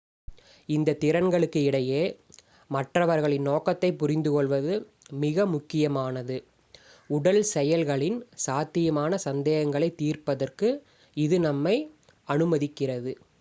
இந்த திறன்களுக்கு இடையே மற்றவர்களின் நோக்கத்தைப் புரிந்துகொள்வது மிக முக்கியமானது உடல் செயல்களின் சாத்தியமான சந்தேகங்களைத் தீர்ப்பதற்கு இது நம்மை அனுமதிக்கிறது